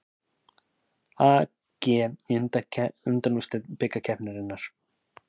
AG í undanúrslit bikarkeppninnar